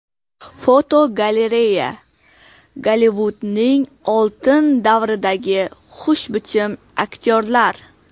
Fotogalereya: Gollivudning oltin davridagi xushbichim aktyorlar.